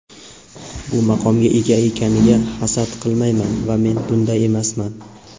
bu maqomga ega ekaniga hasad qilmayman va men bunday emasman.